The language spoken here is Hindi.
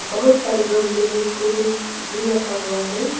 बहुत सारे गमले में फूल भी रखा हुआ है।